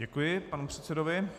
Děkuji panu předsedovi.